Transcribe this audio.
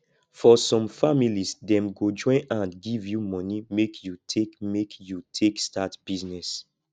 for some families dem go join hand give you momey make you take make you take start business